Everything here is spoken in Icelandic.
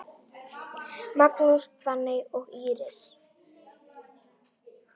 Magnús, Fanney og Íris.